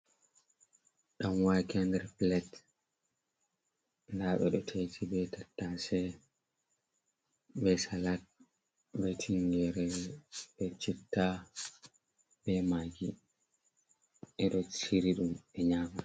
Ɗanwakeb nder plate, nda ɓeɗo ta'iti be tattase be salat be tinyere be chitta be maggi ɓeɗo shiri ɗum ɓe nyama.